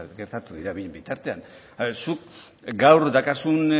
gertatu dira bien bitartean zuk gaur dakarzun